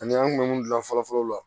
Ani an kun bɛ mun dilan fɔlɔ fɔlɔ la